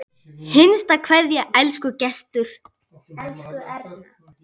HINSTA KVEÐJA Elsku Gestur.